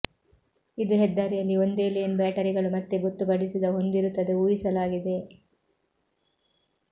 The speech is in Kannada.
ಇದು ಹೆದ್ದಾರಿಯಲ್ಲಿ ಒಂದೇ ಲೇನ್ ಬ್ಯಾಟರಿಗಳು ಮತ್ತೆ ಗೊತ್ತುಪಡಿಸಿದ ಹೊಂದಿರುತ್ತದೆ ಊಹಿಸಲಾಗಿದೆ